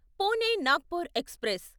Pune Nagpur express